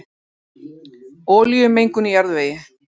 Olíumengun í jarðvegi